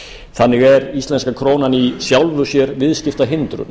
þannig er íslenska krónan í sjálfu sér viðskiptahindrun